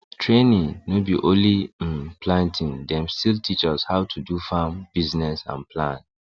training no be only um planting dem still teach us how to do farm business and plan